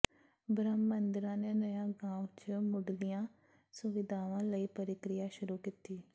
ਬ੍ਰਹਮ ਮਹਿੰਦਰਾ ਨੇ ਨਯਾ ਗਾਂਵ ਚ ਮੁੱਢਲੀਆਂ ਸੁਵਿਧਾਵਾਂ ਲਈ ਪ੍ਰਕਿਰਿਆ ਸ਼ੁਰੂ ਕੀਤੀ